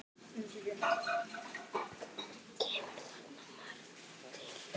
Kemur þar margt til.